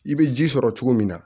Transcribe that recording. I bɛ ji sɔrɔ cogo min na